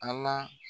A la